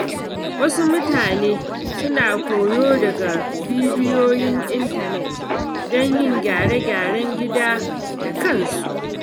Wasu mutane suna koyo daga bidiyoyin intanet don yin gyare-gyaren gida da kansu.